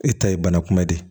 E ta ye banakunbɛ de ye